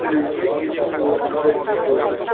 үлгі ету орынды деп ойлаймын